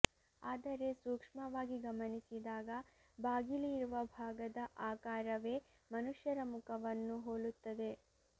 ಆದರೆ ಸೂಕ್ಷ್ಮವಾಗಿ ಗಮನಿಸಿದಾಗ ಬಾಗಿಲು ಇರುವ ಭಾಗದ ಆಕಾರವೇ ಮನುಷ್ಯರ ಮುಖವನ್ನು ಹೋಲುತ್ತದೆ